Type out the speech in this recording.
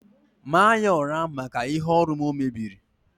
tie ya urs maka ihe ọrụ m o mebieri